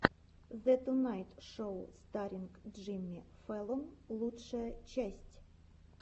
зе тунайт шоу старринг джимми фэллон лучшая часть